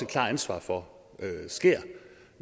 klart ansvar for sker